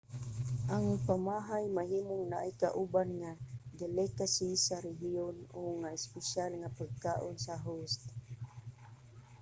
ang pamahay mahimong naay kauban nga delicacy sa rehiyon o nga espesyal nga pagkaon sa host